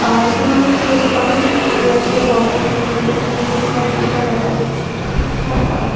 আর এইখানে অনেক কিছু চেয়ার টিয়ার বসানো মানে ইয়ে টিয়ে দিয়েছে কম্পিউটার দেখা যাচ্ছে হিসাব করার ।